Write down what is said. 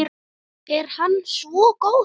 Er hann svo góður?